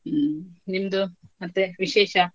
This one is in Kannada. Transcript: ಹ್ಮ್, ನಿಮ್ದು ಮತ್ತೆ ವಿಶೇಷ.